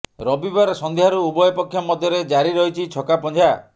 ରବିବାର ସଂଧ୍ୟାରୁ ଉଭୟ ପକ୍ଷ ମଧ୍ୟରେ ଜାରି ରହିଛି ଛକାପଞ୍ଝା